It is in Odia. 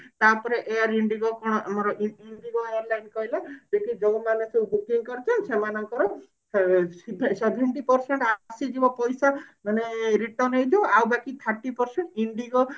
ତାପରେ air Indigo ଆମର କଣ ଇଁ ଇଁ Indigo ବାଲା କଣ କହିଲେ ଯୋଉ ମାନେ ସବୁ booking କରି ଦେଇଛ ସେମାନଙ୍କର ଆ ସେଭେ seventy percent ଆ ଆସିଯିବ ପଇସା ମାନେ return ହେଇଯିବ ଆଉ ବାକି thirty percent Indigo